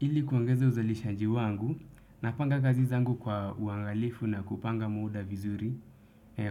Ili kuangeza uzalishanji wangu napanga kazi zangu kwa uangalifu na kupanga muda vizuri